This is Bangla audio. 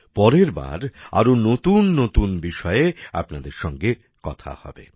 পরের বার আরো নতুন নতুন বিষয়ে আপনাদের সঙ্গে কথা হবে